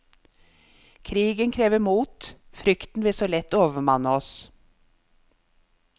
Krigen krever mot, frykten vil så lett overmanne oss.